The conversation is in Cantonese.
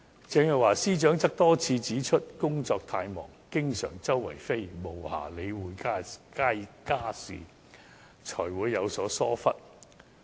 鄭若驊司長多次指出，因工作太忙，經常"四處飛"，無暇理會家事，才會有此疏忽。